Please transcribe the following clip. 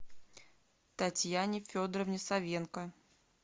татьяне федоровне савенко